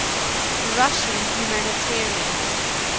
russian humanitarians